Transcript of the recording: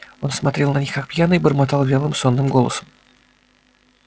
он смотрел на них как пьяный и бормотал вялым сонным голосом